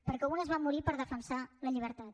perquè unes van morir per defensar la llibertat